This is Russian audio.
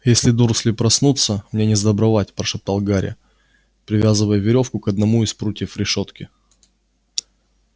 если дурсли проснутся мне несдобровать прошептал гарри привязывая верёвку к одному из прутьев решётки